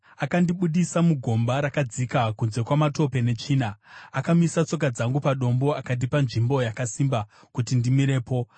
Akandibudisa mugomba rakadzika, kunze kwamatope netsvina; akamisa tsoka dzangu padombo akandipa nzvimbo yakasimba kuti ndimirepo.